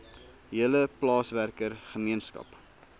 hele plaaswerker gemeenskap